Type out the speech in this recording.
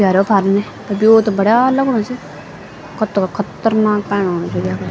य रो फार इने त ब्यो त बढ़ेया लगणु च कत्तगा खत्तरनाक पाणी आणु च यख।